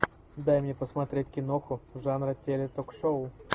дай мне посмотреть киноху жанра теле ток шоу